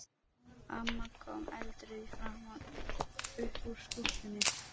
Amma kom eldrauð í framan upp úr skúffunni.